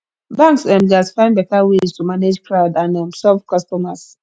banks um gats find better ways to manage crowd and um serve customers